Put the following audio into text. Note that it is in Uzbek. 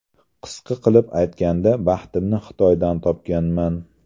Qisqa qilib aytganda, baxtimni Xitoydan topganman.